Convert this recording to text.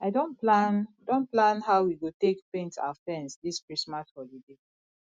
i don plan don plan how we go take paint our fence this christmas holiday